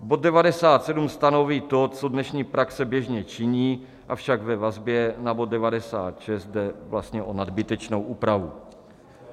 Bod 97 stanoví to, co dnešní praxe běžně činí, avšak ve vazbě na bod 96 jde vlastně o nadbytečnou úpravu.